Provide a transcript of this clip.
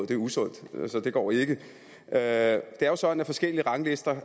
det er usundt så det går ikke det er jo sådan at forskellige ranglister